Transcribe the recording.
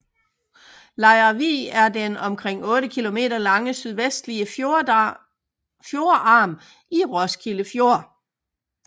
Lejre Vig er den omkring 8 km lange sydvestlige fjordarm i Roskilde Fjord